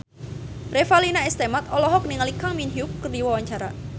Revalina S. Temat olohok ningali Kang Min Hyuk keur diwawancara